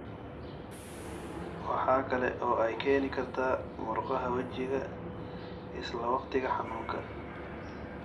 Waxa kale oo ay keeni kartaa murqaha wejiga isla wakhtiga xanuunka.